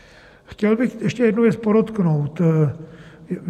Chtěl bych ještě jednu věc podotknout.